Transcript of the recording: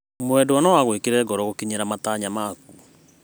Mwendwa no agũĩkĩre ngoro gũkinyĩra matanya maku.